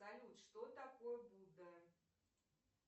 салют что такое будда